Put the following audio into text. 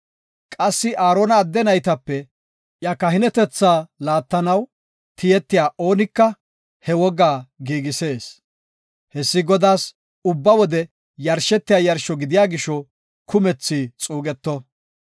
Qassi Aarona adde naytape iya kahinetetha laattanaw tiyetiya oonika he wogaa giigisees. Hessi Godaas ubba wode yarshetiya yarsho gidiya gisho kumethi xuugeto.